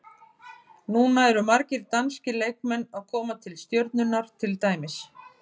Núna eru margir danskir leikmenn að koma til Stjörnunnar til dæmis.